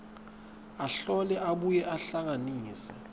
ahlole abuye ahlanganise